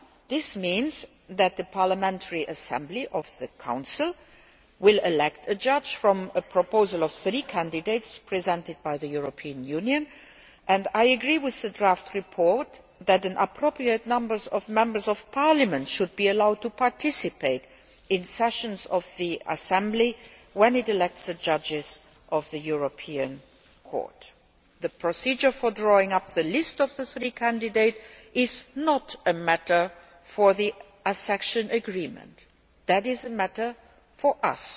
This means that the Parliamentary Assembly of the Council will elect a judge from a proposal for three candidates presented by the European Union, and I agree with the draft report that an appropriate number of Members of Parliament should be allowed to participate in sessions of the Assembly when it elects the judges of the European Court. The procedure for drawing up the list of the three candidates is not a matter for the accession agreement it is a matter for us.